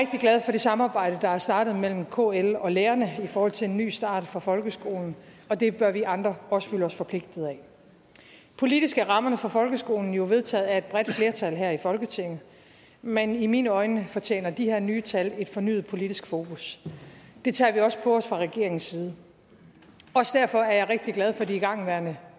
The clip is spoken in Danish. det samarbejde der er startet mellem kl og lærerne i forhold til en ny start for folkeskolen og det bør vi andre også føle os forpligtet af politisk er rammerne for folkeskolen jo vedtaget af et bredt flertal her i folketinget men i mine øjne fortjener de her nye tal et fornyet politisk fokus det tager vi også på os fra regeringens side også derfor er jeg rigtig glad for de igangværende